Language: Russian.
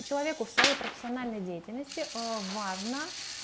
человеку в своей профессиональной деятельности важно